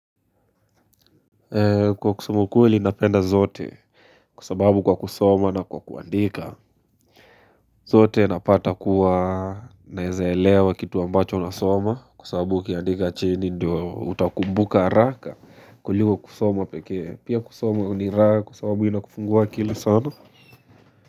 Kusema ukweli napenda zote, kwa sababu kwa kusoma na kwa kuandika. Zote napata kuwa naeza elewa kitu ambacho nasoma kwa sababu ukiandika chini Ndio utakumbuka haraka kuliko kusoma pekee. Pia kusoma ni raha kwa sababu ina kufungua akili sana.